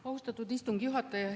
Austatud istungi juhataja!